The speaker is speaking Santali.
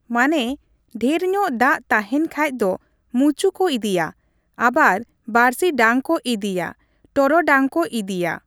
ᱢᱟᱱᱮ ᱰᱷᱮᱨᱧᱚᱜ ᱫᱟᱜ ᱛᱟᱦᱮᱱ ᱠᱷᱟᱡ ᱫᱚ ᱢᱩᱪᱩ ᱠᱚ ᱤᱫᱤᱭᱟ ᱟᱵᱟᱨ ᱵᱟᱹᱲᱥᱤ ᱰᱟᱝ ᱠᱚ ᱤᱫᱤᱭᱟ ᱴᱚᱨᱚᱰᱟᱝ ᱠᱚ ᱤᱫᱤᱭᱟ ᱾